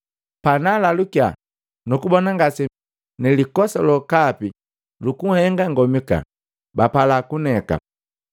Pabanalukiya nukubona ngase mi nilikosa lokapi nhenga nikomika, bapala kuneka.